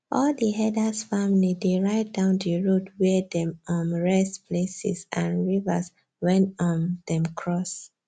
all the herders family dey write down the road where them um rest places and rivers wen um them cross